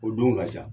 O don ka ca